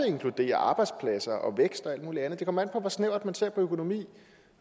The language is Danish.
inkluderer arbejdspladser og vækst og alt mulig andet det kommer an på hvor snævert man ser på økonomi